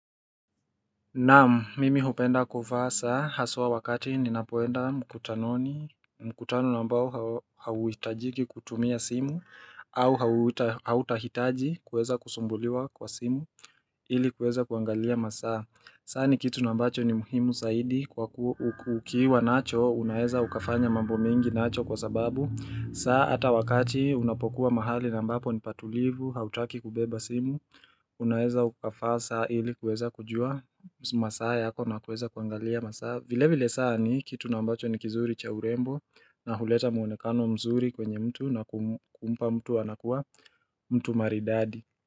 Naam, mimi hupenda kuvaa saa, haswa wakati ninapoenda mkutanoni, mkutano na ambao hauhitajiki kutumia simu, au hautahitaji kuweza kusumbuliwa kwa simu ili kuweza kuangalia masaa. Saa ni kitu na ambacho ni muhimu zaidi kwa kuwa ukiwa nacho unaeza ukafanya mambo mengi nacho kwa sababu saa hata wakati unapokuwa mahali na ambapo ni patulivu hautaki kubeba simu Unaeza ukafaa saa ili kuweza kujua masaa yako na kuweza kuangalia masaa vile vile saa ni kitu na ambacho ni kizuri cha urembo na huleta mwonekano mzuri kwenye mtu na kumpa mtu anakuwa mtu maridadi.